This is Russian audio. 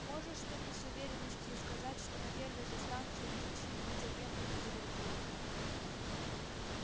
можешь ты мне с уверенностью сказать что на первой же станции их чьи-нибудь агенты не завербуют